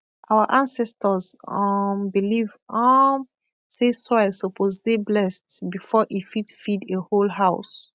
our ancestors um believe um say soil supposed dey blessed before e fit feed a whole house